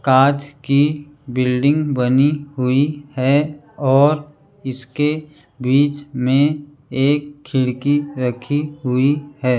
कांच की बिल्डिंग बनी हुई है और इसके बीच में एक खिड़की रखी हुई है।